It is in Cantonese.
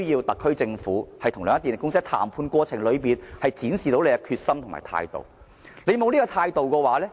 特區政府與兩間電力公司，必需在談判過程中展示其決心和態度。